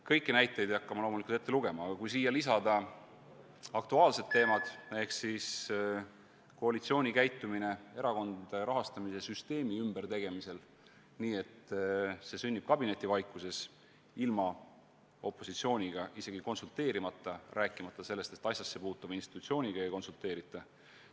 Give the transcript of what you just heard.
Kõiki näiteid ei hakka ma loomulikult ette lugema, aga ühe aktuaalse teema võiks veel lisada: koalitsiooni käitumine erakondade rahastamise süsteemi ümbertegemisel, kui plaan sündis kabinetivaikuses ilma opositsiooniga konsulteerimata, rääkimata sellest, et asjassepuutuva institutsiooniga oleks konsulteeritud.